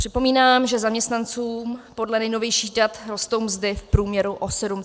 Připomínám, že zaměstnancům podle nejnovějších dat rostou mzdy v průměru o 7,2 % ročně.